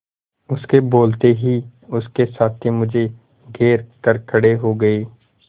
उसके बोलते ही उसके साथी मुझे घेर कर खड़े हो गए